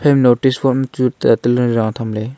notice board machu tatalay ra thamley.